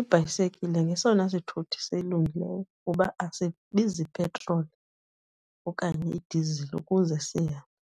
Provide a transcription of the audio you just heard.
Ibhayisekile ngesona sithuthi silungileyo kuba asibizi petroli okanye idizili ukuze sihambe.